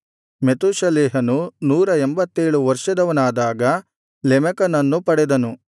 ಮೆತೂಷೆಲಹನು ನೂರ ಎಂಭತ್ತೇಳು ವರ್ಷದವನಾದಾಗ ಲೆಮೆಕನನ್ನು ಪಡೆದನು